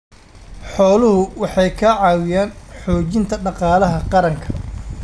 Xooluhu waxay ka caawiyaan xoojinta dhaqaalaha qaranka.